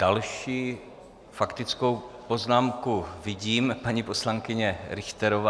Další faktickou poznámku vidím - paní poslankyně Richterová.